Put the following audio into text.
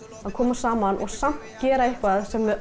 að koma saman og gera eitthvað sem við